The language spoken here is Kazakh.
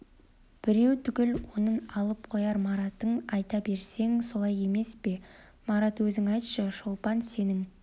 біреу түгіл онын алып қояр маратың айта берсең солай емес пе марат өзің айтшы шолпан сенің